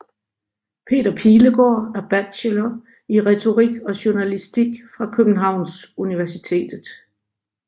Peter Pilegaard er bachelor i Retorik og Journalistik fra Københavns Universitet